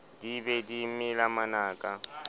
di be di mela manaka